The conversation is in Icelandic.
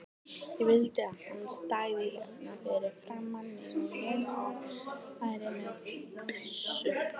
Ég vildi að hann stæði hérna fyrir framan mig og ég væri með byssu.